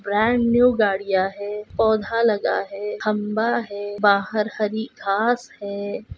Brand new गाड़ियां है पोधा लगा है खम्बा है बहार हरी घास है।